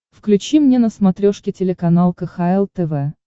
включи мне на смотрешке телеканал кхл тв